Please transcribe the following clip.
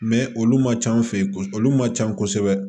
olu man ca an fɛ yen ko olu man ca kosɛbɛ